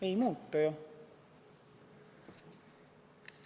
Ei muutu!